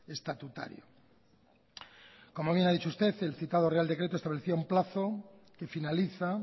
estatutario como bien ha dicho usted el citado real decreto establecía un plazo que finaliza